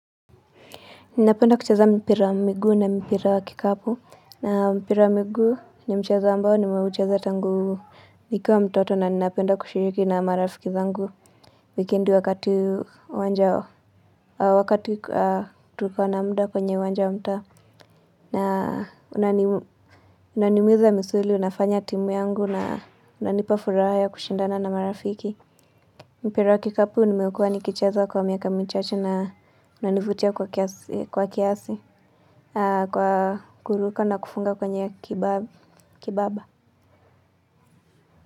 Ninapenda kucheza mpira wa miguu na mpira wa kikapu. Na mpira wa miguu ni mchezo ambao ni mchezo tangu nikuwa mtoto na ninapenda kushiriki na marafiki zangu. Wikendi wakati wakati tuliko na muda kwenye uwanja wa mtaa. Na unani unanimuiza misuli, unafanya timu yangu na unanipa furaha ya kushindana na marafiki. Mpira wa kikapu nimekuwa nikicheza kwa miaka michache na unanivutia kwa kiasi. Kwa kuruka na kufunga kwenye kibaba.